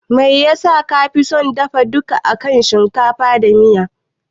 Me yasa kafi son dafa duka akan shinkafa da miya?